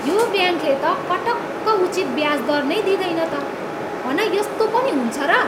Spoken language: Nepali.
यो ब्याङ्कले त पटक्क उचित ब्याज दर नै दिँदैन त! हन यस्तो पनि हुन्छ र?